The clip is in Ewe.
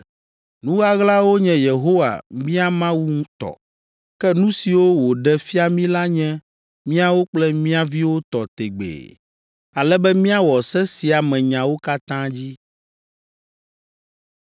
Nu ɣaɣlawo nye Yehowa, mía Mawu tɔ; ke nu siwo wòɖe fia mí la nye míawo kple mía viwo tɔ tegbee, ale be míawɔ se sia me nyawo katã dzi.